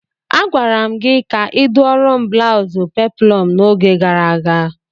Agwara m gị ka ịdụọrọ m blaụzụ peplọm n'oge gara aga!